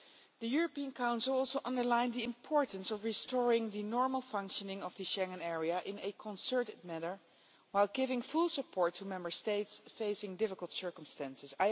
The European Council also underlined the importance of restoring the normal functioning of the Schengen Area in a concerted manner while giving full support to Member States facing difficult circumstances.